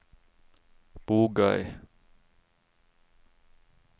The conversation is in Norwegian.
Bogøy